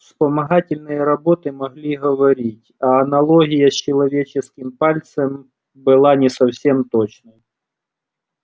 вспомогательные роботы могли говорить а аналогия с человеческим пальцем была не совсем точной